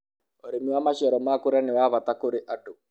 ũrĩmi wa maciaro ma kũrĩa nĩ wa bata kũrĩ andũ